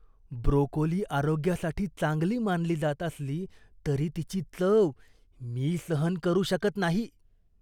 Broccoli आरोग्यासाठी चांगली मानली जात असली तरी तिची चव मी सहन करू शकत नाही.